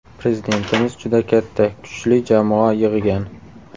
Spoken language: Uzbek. Prezidentimiz juda katta, kuchli jamoa yig‘gan.